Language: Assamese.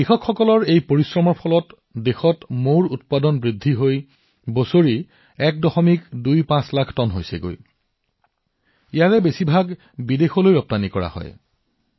কৃষকসকলৰ কঠোৰ পৰিশ্ৰমৰ ফলত দেশত মৌৰ উৎপাদন নিৰন্তৰভাৱে বৃদ্ধি পাইছে আৰু বছৰি প্ৰায় ১২৫ লাখ টন এই বৃহৎ পৰিমাণৰ মৌ বিদেশলৈও ৰপ্তানি হৈ আছে